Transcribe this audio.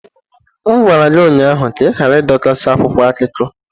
M ụnyahụ ka adọkasị akwụkwọ akụkọ!